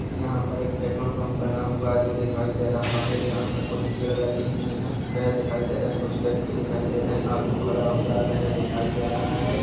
यहाँ पर एक पेट्रोल पर्प बना हुआ है। जो दिखाई दे रहा है। यहाँ पर कुछ पेड़ लगे हुए है। वह दिखाई दे रहा है। कुछ व्यक्ति दिखाई दे रहे है। ऑटो खड़ा हुआ है वह दिखाई दे रहा है।